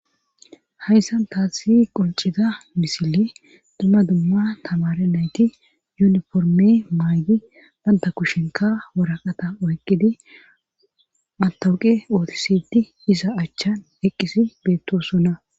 hayssan taasi qoncida misili dumma dumma tamare nayti yuniforme maaydi banta kushenka woraqata oyqqidi matawuqe ootisidi isa achchan eqqisi beettosonna